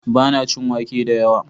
Ba na cin wake da yawa